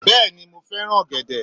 Bẹ́ẹ̀ni mo fẹ́ràn ọ̀gẹ̀dẹ̀